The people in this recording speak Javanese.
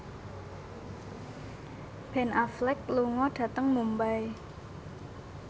Ben Affleck lunga dhateng Mumbai